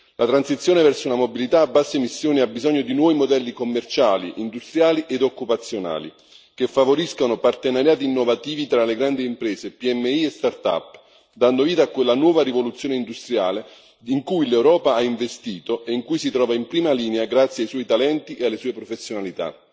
La transizione verso una mobilità a basse emissioni ha bisogno di nuovi modelli commerciali, industriali ed occupazionali, che favoriscano partenariati innovativi tra grandi imprese, PMI e startup, dando vita a quella nuova rivoluzione industriale in cui l'Europa ha investito e in cui si trova in prima linea, grazie ai suoi talenti e alle sue professionalità.